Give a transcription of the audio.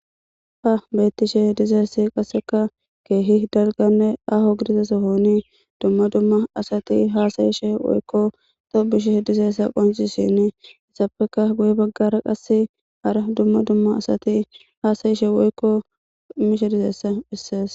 Ha beetishe dizayssi qasseka keehi dalganne aaho gidida sohoni dumma dumma asati haasa'ishe woykko tobbishe dizayssa qoncisenne izappeka guye bagaara qasse hara dumma dumma asati haasa'ishe woykko mishe dizayssa besees.